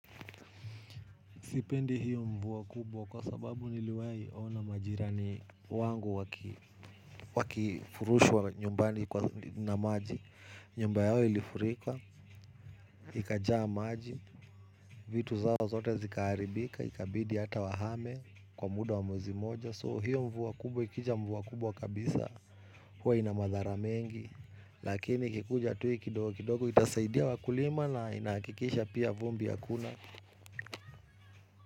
Sipendi hiyo mvua kubwa kwa sababu niliwahi ona majirani wangu wakifurushwa nyumbani na maji. Nyumba yao ilifurika, ikajaa maji, vitu zao zote zikaharibika, ikabidi hata wahame kwa muda wa mwezi mmoja. So hiyo mvua kubwa ikija mvua kubwa kabisa, huwa ina madhara mengi. Lakini ikikuja tu hiii kidogo kidogo, itasaidia wakulima na inahakikisha pia vumbi hakuna.